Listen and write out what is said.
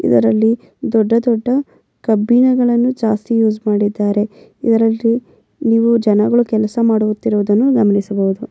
ಇವರಲ್ಲಿ ದೊಡ್ಡ ದೊಡ್ಡ ಕಬ್ಬಿಣಗಳನ್ನು ಜಾಸ್ತಿ ಯೂಸ್ ಮಾಡಿದ್ದಾರೆ ಇವರಲ್ಲೂ ನೀವು ಜನಗಳ ಕೆಲಸ ಮಾಡುತ್ತಿರುವುದನ್ನು ಗಮನಿಸಬಹುದು.